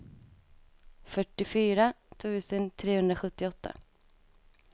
fyrtiofyra tusen trehundrasjuttioåtta